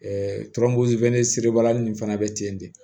nin fana bɛ ten de